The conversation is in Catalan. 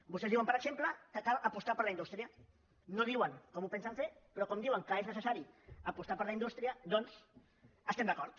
vostès diuen per exemple que cal apostar per la in·dústria no diuen com ho pensen fer però com que di·uen que és necessari apostar per la indústria doncs hi estem d’acord